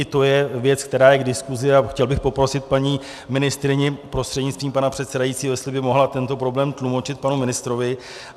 I to je věc, která je k diskuzi, a chtěl bych poprosit paní ministryni prostřednictvím pana předsedajícího, jestli by mohla tento problém tlumočit panu ministrovi.